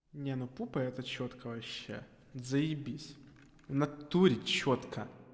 не ну пупа это чётко вообще заибись в натуре чётко